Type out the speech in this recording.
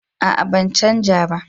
A'a ban canja ba